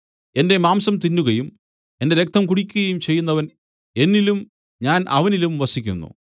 എന്റെ മാംസം തിന്നുകയും എന്റെ രക്തം കുടിക്കുകയും ചെയ്യുന്നവൻ എന്നിലും ഞാൻ അവനിലും വസിക്കുന്നു